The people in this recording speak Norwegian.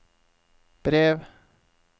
brev